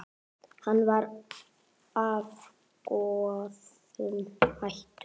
Hann var af góðum ættum.